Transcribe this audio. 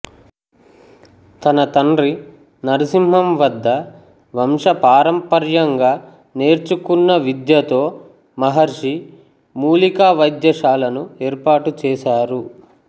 తన తండ్రి నర్సింహం వద్ద వంశపారంపర్యంగా నేర్చుకున్న విద్యతో మహర్షి మూలికా వైద్యశాలను ఏర్పాటు చేసారు